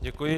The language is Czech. Děkuji.